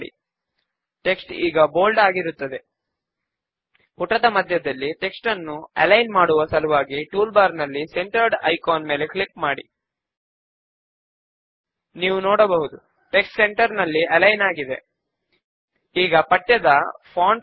ల్ట్పాజెగ్ట్ ఇప్పుడు member id column పైన right click చేసి హైడ్ కోలమ్న్ ఆప్షన్ పైన క్లిక్ చేయడము ద్వారా హైడ్ చేద్దాము